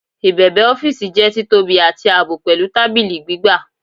Ibebe ọfiisi jẹ titobi ati aabọ, pẹlu tabili gbigba